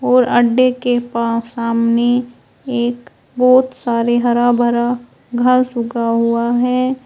और अंडे के पा सामने एक बहोत सारे हरा भरा घास उगा हुआ है।